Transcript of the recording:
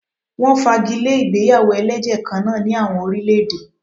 Wọ́n fagi lé ìgbéyàwó ẹlẹ́jẹ̀ kan náà ní àwọn orílè-èdè.